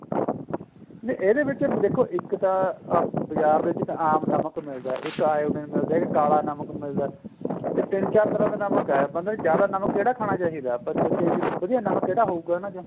ਨਹੀਂ ਇਹਦੇ ਵਿੱਚ ਦੇਖੋ ਇੱਕ ਤਾਂ ਬਜ਼ਾਰ ਦੇ ਵਿੱਚ ਆਮ ਨਮਕ ਮਿਲਦਾ ਇੱਕ iodine ਮਿਲਦਾ ਇੱਕ ਕਾਲਾ ਨਮਕ ਮਿਲਦਾ ਏ ਇਹ ਤਿੰਨ ਚਾਰ ਤਰ੍ਹਾਂ ਦੇ ਨਮਕ ਏ ਬੰਦੇ ਨੂੰ ਜਿਆਦਾ ਨਮਕ ਕਿਹੜਾ ਖਾਣਾ ਚਾਹੀਦਾ ਏ ਆਪਾਂ ਸੋਚੀਏ ਵਧੀਆ ਨਮਕ ਕਿਹੜਾ ਹੋਊਗਾ ਇਹਨਾ ਚੋ